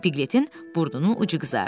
Piqletin burnunun ucu qızardı.